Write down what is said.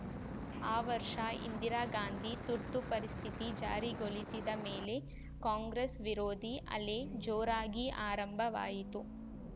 ಆ ವರ್ಷ ಇಂದಿರಾ ಗಾಂಧಿ ತುರ್ತು ಪರಿಸ್ಥಿತಿ ಜಾರಿಗೊಳಿಸಿದ ಮೇಲೆ ಕಾಂಗ್ರೆಸ್‌ವಿರೋಧಿ ಅಲೆ ಜೋರಾಗಿ ಆರಂಭವಾಯಿತು